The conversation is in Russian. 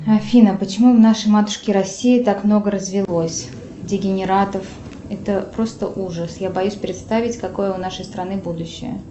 афина почему в нашей матушке россии так много развелось дегенератов это просто ужас я боюсь представить какое у нашей страны будущее